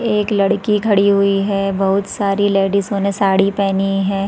एक लड़की खड़ी हुई है बहुत सारी लेडीसो ने साड़ी पहनी हैं ।